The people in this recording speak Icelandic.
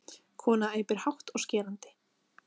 Kona æpir hátt og skerandi.